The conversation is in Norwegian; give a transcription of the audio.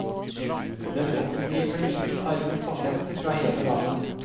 Den offentlige klinikken tar imot pasienter fra hele landet.